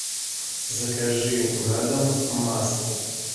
закажи на дом масло